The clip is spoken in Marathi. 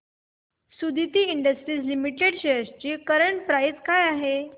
सुदिति इंडस्ट्रीज लिमिटेड शेअर्स ची करंट प्राइस काय आहे